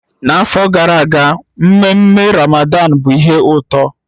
N'afọ gara aga mmenme Ramadan bụ ihe ụtọ